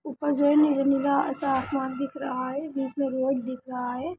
ऊपर जो है नीला-नीला ऐसा आसमान दिख रहा है जिसमें रोड दिख रहा है।